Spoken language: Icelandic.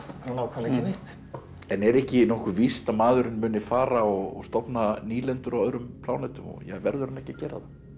ekki neitt en er ekki nokkuð víst að maðurinn muni fara og stofna nýlendur á öðrum plánetum verður hann ekki að gera það